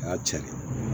A y'a cɛ ɲɛ